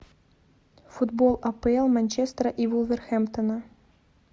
футбол апл манчестера и вулверхэмптона